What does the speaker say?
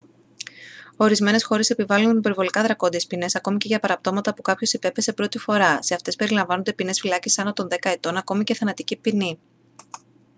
ορισμένες χώρες επιβάλλουν υπερβολικά δρακόντειες ποινές ακόμα και για παραπτώματα που κάποιος υπέπεσε πρώτη φορά σε αυτές περιλαμβάνονται ποινές φυλάκισης άνω των δέκα ετών ακόμα και θανατική ποινή